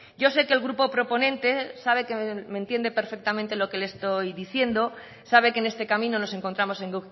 yo sé que el grupo proponente sabe que me entiende perfectamente lo que le estoy diciendo sabe que en este camino nos encontramos en